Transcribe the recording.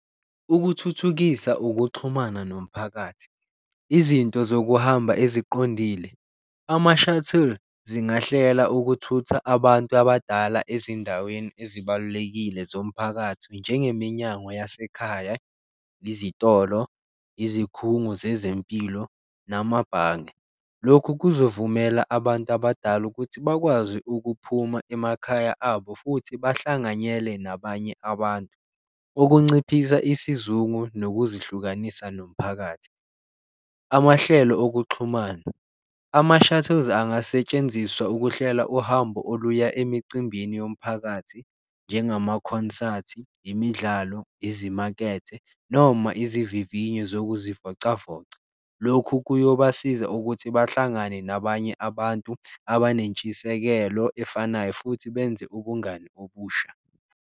Ukuthuthukisa ukuxhumana nomphakathi, izinto zokuhamba eziqondile, ama-shuttles zingahlela ukuthutha abantu abadala ezindaweni ezibalulekile zomphakathi njengeMnyango yaseKhaya, izitolo, izikhungo zezempilo, namabhange. Lokhu kuzovumela abantu abadala ukuthi bakwazi ukuphuma emakhaya abo futhi bahlanganyele nabanye abantu, okunciphisa isizungu nokuzihlukanisa nomphakathi. Amahlelo okuxhumana, ama-shuttles angasetshenziswa ukuhlela uhambo oluya emicimbini yomphakathi njengamakhonsathi, imidlalo, izimakethe noma izivivinyo zokuzivocavoca. Lokhu kuyobasiza ukuthi bahlangane nabanye abantu abanentshisekelo efanayo, futhi benze ubungani obusha.